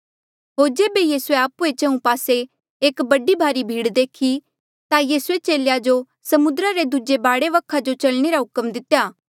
होर जेबे यीसूए आपणे चंहु पासे एक बड़ी भारी भीड़ देखी ता यीसूए चेलेया जो समुद्रा रे दूजे बाढे वखा जो चलने रा हुक्म दितेया